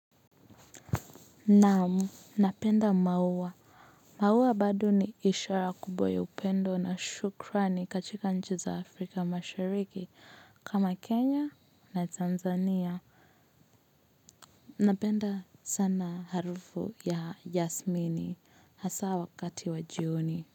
Naam napenda maua maua bado ni ishara kubwa ya upendo na shukrani kachika nchi za afrika mashariki kama kenya na tanzania napenda sana harufu ya yasmini hasa wakati wa jioni.